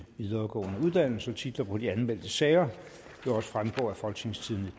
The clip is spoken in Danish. videregående uddannelser titlerne på de anmeldte sager vil også fremgå af folketingstidende